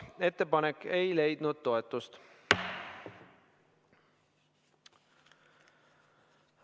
Ettepanek ei leidnud toetust.